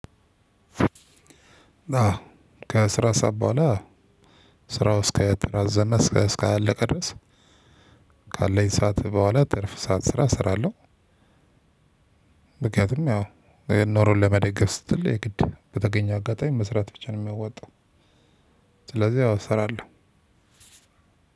ከስራ ሰዓት በኋላ ስራው እስከ ተራዘመ እስከ እስካላላቀ ድረስ ካለኝ ሰዓት በኋላ ትርፍ ሰዓት ስራ እሰራለሁ። ምክንያቱም ያው ኑሮን ለመደገፍ ስትል የግድ በተገኘ አጋጣሚ መስራት ብቻ ነው የሚያወጣው። ስለዚህ አዎ እሰራለሁ።